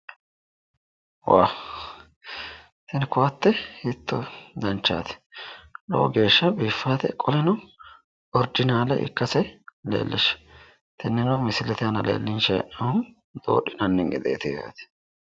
Woow, tini kowaate hiitto danchaati, lowo geeshsha biifate qoleno, orginaale ikkase leellishshanno, tinino misilete aana leellishanni hee'noonnihu doodhinanni gedeeti.